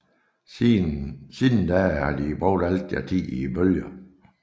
Siden da har de brugt al deres tid i bølgerne